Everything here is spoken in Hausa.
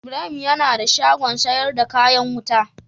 Ibrahim yana da shagon sayar da kayan wuta.